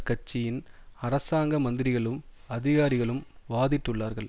கட்சியின் அரசாங்க மந்திரிகளும் அதிகாரிகளும் வாதிட்டுள்ளார்கள்